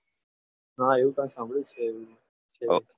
હા એવું કંઈ સાંભળ્યું છે યાર